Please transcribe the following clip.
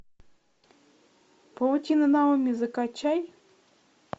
паутина наоми закачай